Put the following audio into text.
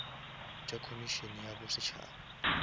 tša komišene ya bo setšhaba